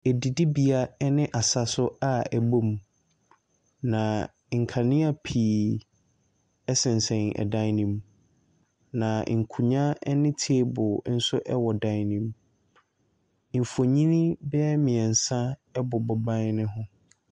Ɛdidibea ɛne asaso a ebom. na nkanea pii ɛsensɛn ɛdan nim, na nkonwa ɛne table ɛwɔ dan ne mu. Nfonii bɛyɛ mmiɛnsa ɛbobɔ ban no mu.